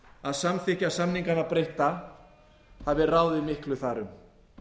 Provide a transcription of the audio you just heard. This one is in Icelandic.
að samþykkja samningana breytta hafi ráðið miklu þar um